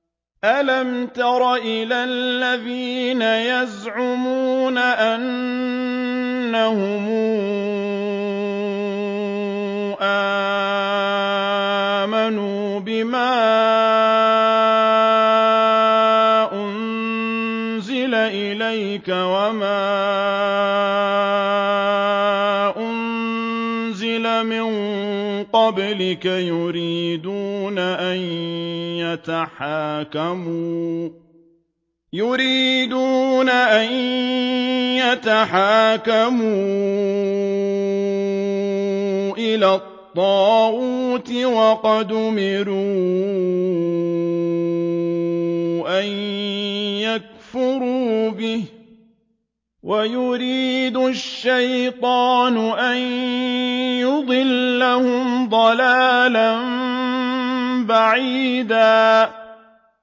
أَلَمْ تَرَ إِلَى الَّذِينَ يَزْعُمُونَ أَنَّهُمْ آمَنُوا بِمَا أُنزِلَ إِلَيْكَ وَمَا أُنزِلَ مِن قَبْلِكَ يُرِيدُونَ أَن يَتَحَاكَمُوا إِلَى الطَّاغُوتِ وَقَدْ أُمِرُوا أَن يَكْفُرُوا بِهِ وَيُرِيدُ الشَّيْطَانُ أَن يُضِلَّهُمْ ضَلَالًا بَعِيدًا